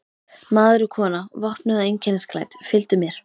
Maður og kona, vopnuð og einkennisklædd, fylgdu mér.